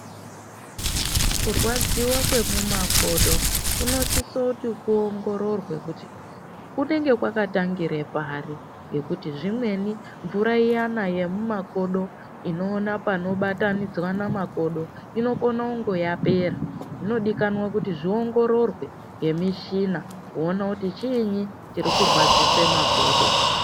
Kurwadziva kwemumakodo kunosise kuti kuongorore kuti kunenge kwakatangire pari. Ngekuti zvimweni mvura iyana yemumakodo inoona panobatanidzana makodo inokona kunge yapera. Zvinodikanwa kuti zviongororwe ngemishina kuona kuti chiini chirikurwadzise makodo.